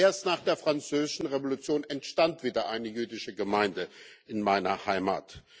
Erst nach der Französischen Revolution entstand wieder eine jüdische Gemeinde in meiner Heimat.